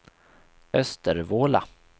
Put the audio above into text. Östervåla